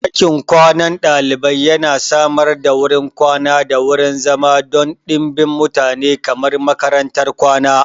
Ɗakin kwanan ɗalibai yana samar da wurin kwana da wurin zama don ɗimbin mutane kamar makarantar kwana.